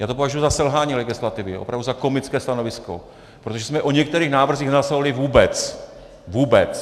Já to považuji za selhání legislativy, opravdu za komické stanovisko, protože jsme o některých návrzích nehlasovali vůbec, vůbec.